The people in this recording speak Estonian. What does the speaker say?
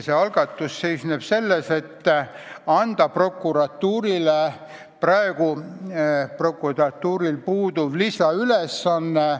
See seisneb ettepanekus anda prokuratuurile üks lisaülesanne.